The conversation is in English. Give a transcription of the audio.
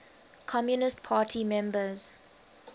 communist party members